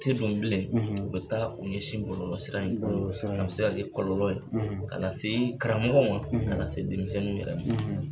U te don bilen u bɛ taa u ɲɛsin bɔlɔlɔ sira in ma a bɛ se kɛ kɔlɔlɔ ye ka na se karamɔgɔ ma ka se denmisɛnninw yɛrwɛ ma.